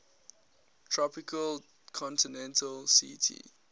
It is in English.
tropical continental ct